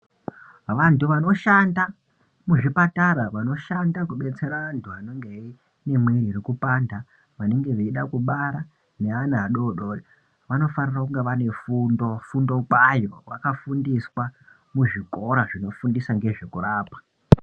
Vantu vanoshanda muzvipatara, vanoshanda kubetsera antu anenge eyi ane mwiiri iri kupanda vanenge veide kubara, neana adori dori, anofanira kunge ane fundo-fundo kwayo vakafundiswa muzvikora zvinofundisa ngezvekurapa.